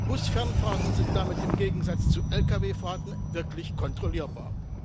Bus Fernfahrten sind damit im Gegensatz zu Lkw Fahrten wirklich kontrollierbar.